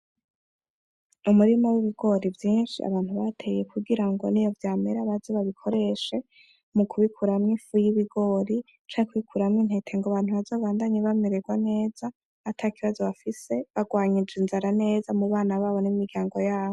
Umurima w'ibigori vyinshi abantu bateye kugira ngo niyo vyamera baze babikoreshe, mu kubikuramo ifu y'ibigori canke kubikuramo intete kugira abantu bazobandanye bamererwa neza atakibazo bafise barwanyije inzara neza mu bana babo n'imiryango yabo.